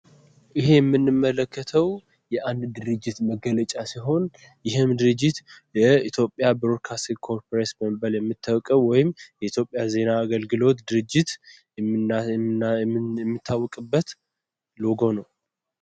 ይሄ የምንመለከተው የአንድ ድርጅት መገለጫ ሲሆን ይሄም ድርጅት የኢትዮጵያ ብሮድካስቲን ኮርፖሬሽን በመባል የሚታወቀው ወይም የኢትዮጵያ ዜና አገልግሎት ድርጅት የሚታወቅበት ሎጎ ነው።